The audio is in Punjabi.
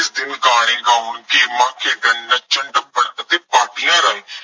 ਇਸ ਦਿਨ ਗਾਣੇ ਗਾਉਣ, ਨੱਚਣ, ਟੱਪਣ ਅਤੇ ਪਾਰਟੀਆਂ ਰਾਹੀਂ